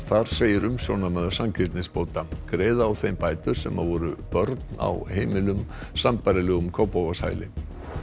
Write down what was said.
þar segir umsjónarmaður sanngirnisbóta greiða á þeim bætur sem voru börn á heimilum sambærilegum Kópavogshæli